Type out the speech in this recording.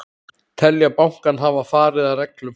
Telja bankann hafa farið að reglum